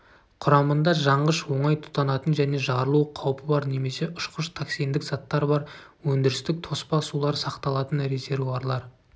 құрамында жанғыш оңай тұтанатын және жарылу қаупі бар немесе ұшқыш токсиндік заттар бар өндірістік тоспа сулар сақталатын резервуарлар